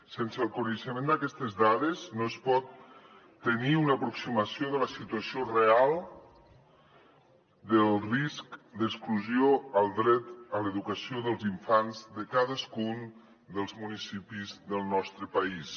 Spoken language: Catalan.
sense el coneixement d’aquestes dades no es pot tenir una aproximació de la situació real del risc d’exclusió al dret a l’educació dels infants de cadascun dels municipis del nostre país